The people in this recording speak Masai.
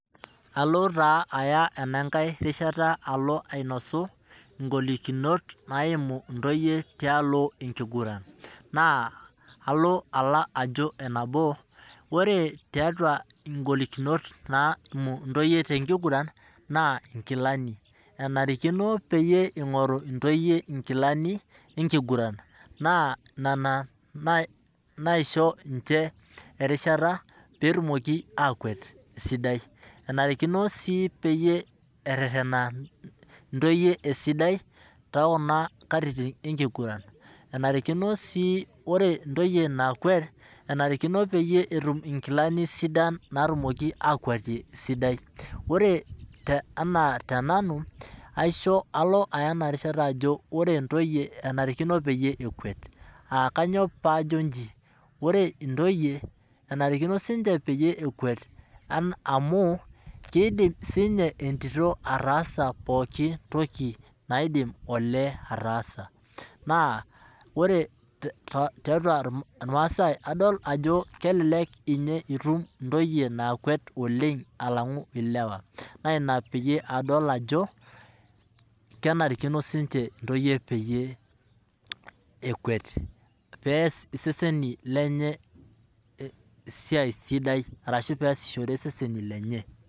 Alo taa aya ena kae rishata alo ainosu gulikinot naimu ntoyie tialo ekiguran, Naa alo ajo enabo, ore tiatua gulikinot naimu ntoyie te kiguran naa nkilani enarikino peyie ingoru nyoyie nkilani ekiguran. Naa nena naisho ninche erishata pee etumoki akwet esidai, enarikino si neretena ntoyie esidai te kuna katitin ekiguran. Enarikino si ore ntoyie naakwet enarikino peyie etum nkilani sidan naatumoki akewetie esidai, ore anaa te nanu alo aisho enarishata ajo ore ntoyie enarikino peyie ekwet, aah kanyoo paa ajo ji? Ore ntoyie enarikino si ninche peyie ekwet anaa amu idim si ninye etito ataasa pooki toki naidim olee ataasa naa ore tiatua irmaasai adol ajo kelelek ninye itum ntoyie naakwet oleng alangu ilewa na ina peyie adol ajo, kenarikino si ninche ntoyie peyie ekwet, pee ees seseni lenye esiai sidai arshu pee esishore seseni lenye.